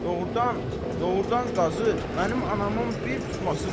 Doğurdan, doğurdan Qazı, mənim anamın bir tutması var.